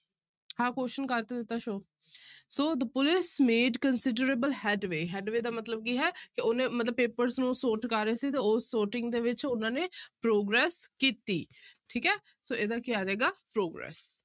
ਇਹ question ਕਰ ਤਾਂ ਦਿੱਤਾ show so the police made considerable headway, headway ਦਾ ਮਤਲਬ ਕੀ ਹੈ ਕਿ ਉਹਨੇ ਮਤਲਬ papers ਨੂੰ sort ਕਰ ਰਹੇ ਸੀ, ਤੇ ਉਹ sorting ਦੇ ਵਿੱਚ ਉਹਨਾਂ ਨੇ progress ਕੀਤੀ ਠੀਕ ਹੈ ਸੋ ਇਹਦਾ ਕੀ ਆ ਜਾਏਗਾ progress